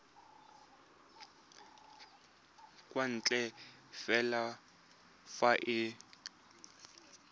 kwa ntle fela fa e